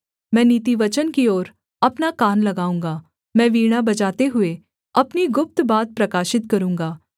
मैं नीतिवचन की ओर अपना कान लगाऊँगा मैं वीणा बजाते हुए अपनी गुप्त बात प्रकाशित करूँगा